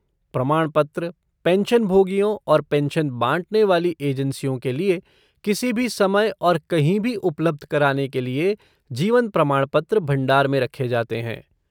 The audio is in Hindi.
प्रमाणपत्र, पेंशनभोगियों और पेंशन बाँटने वाली एजेंसियों के लिए किसी भी समय और कहीं भी उपलब्ध कराने के लिए जीवन प्रमाणपत्र भंडार में रखे जाते हैं।